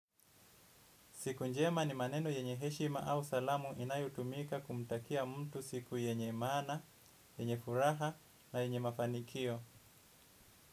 Siku njema ni maneno yenye heshima au salamu inayotumika kumtakia mtu siku yenye mana, yenye furaha na yenye mafanikio.